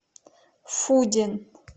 фудин